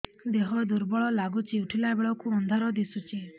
ଦେହ ଦୁର୍ବଳ ଲାଗୁଛି ଉଠିଲା ବେଳକୁ ଅନ୍ଧାର ଦିଶୁଚି